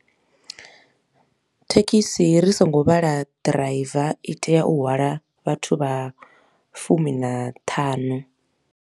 Thekhisi ri songo vhala driver i tea u hwala vhathu vha fumi na ṱhanu.